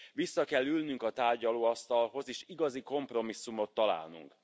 Vissza kell ülnünk a tárgyalóasztalhoz és igazi kompromisszumot találnunk.